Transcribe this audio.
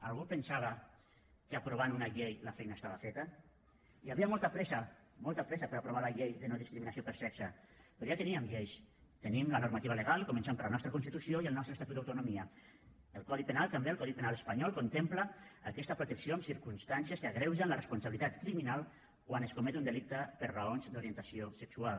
algú pensava que aprovant una llei la feina estava feta hi havia molta pressa molta pressa per aprovar la llei de no discriminació per sexe però ja hi teníem lleis tenim la normativa legal començant per la nostra constitució i el nostre estatut d’autonomia el codi penal espanyol també contempla aquesta protecció amb circumstàncies que agreugen la responsabilitat criminal quan es comet un delicte per raons d’orientació sexual